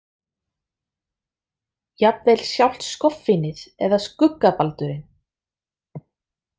Jafnvel sjálft skoffínið eða skuggabaldurinn.